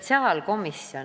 Kaheksa.